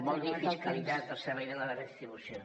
vol dir fiscalitat al servei de la redistribució